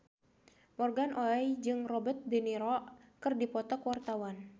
Morgan Oey jeung Robert de Niro keur dipoto ku wartawan